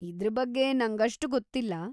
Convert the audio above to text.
ಇದ್ರ ಬಗ್ಗೆ ನಂಗಷ್ಟು ಗೊತ್ತಿಲ್ಲ.